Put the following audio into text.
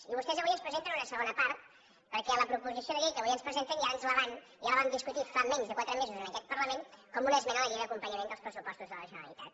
i vostès avui ens presenten una segona part perquè la proposició de llei que avui ens presenten ja la vam discutir fa menys de quatre mesos en aquest parlament com una esmena a la llei d’acompanyament dels pressupostos de la generalitat